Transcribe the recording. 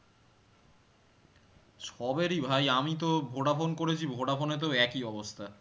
সবের ই ভাই আমি তো ভোডাফোন করেছি ভোডাফোনেতেও একই অবস্থা